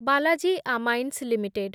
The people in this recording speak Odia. Balaji amines limited